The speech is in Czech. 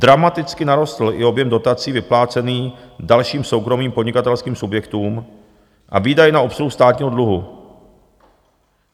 Dramaticky narostl i objem dotací vyplácený dalším soukromým podnikatelským subjektům a výdaj na obsluhu státního dluhu.